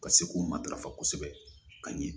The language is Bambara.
Ka se k'o matarafa kosɛbɛ ka ɲɛ